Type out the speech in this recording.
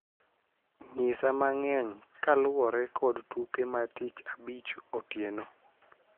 Nyisa mang'eny kaluwore kod tuke ma tich abich otieno